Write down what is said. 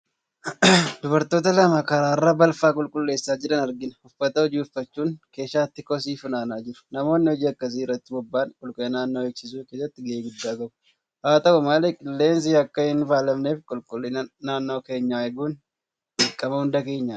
Dubartoota lama karaarraa balfa qulqulleessaa jiran arginaa. Uffata hojii uffachuun keeshaatti kosii funaanaa jiru. Namoonni hojii akkasii irratti boba'an qulqullina naannoo eegsisuu keessatti ga'ee guddaa qabu. Haa ta'u malee qilleensi akka hinfaalamneef qulqullina naannoo keenyaa eeguun dirqama hunda keenyaati.